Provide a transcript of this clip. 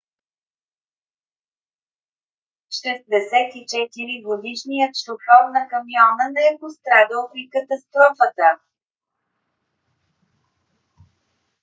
64-годишният шофьор на камиона не е пострадал при катастрофата